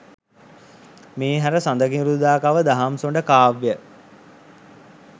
මේ හැර සඳකිඳුරුදාකව දහම්සොඬ කාව්‍යය